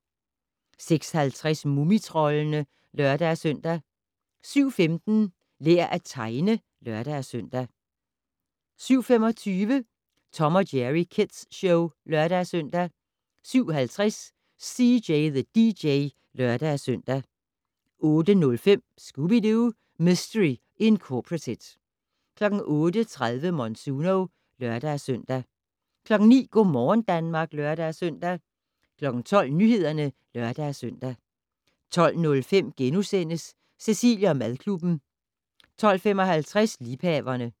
06:50: Mumitroldene (lør-søn) 07:15: Lær at tegne (lør-søn) 07:25: Tom & Jerry Kids Show (lør-søn) 07:50: CJ the DJ (lør-søn) 08:05: Scooby-Doo! Mistery Incorporated 08:30: Monsuno (lør-søn) 09:00: Go' morgen Danmark (lør-søn) 12:00: Nyhederne (lør-søn) 12:05: Cecilie & madklubben * 12:55: Liebhaverne